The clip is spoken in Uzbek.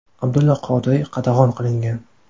Abdulla Qodiriy qatag‘on qilingan.